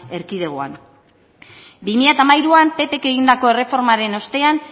erkidegoan bi mila hamairuan ppk egindako erreformaren ostean